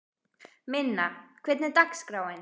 Minna, hvernig er dagskráin?